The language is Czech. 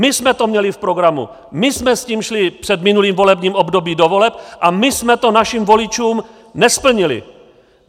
My jsme to měli v programu, my jsme s tím šli před minulým volebním obdobím do voleb a my jsme to našim voličům nesplnili.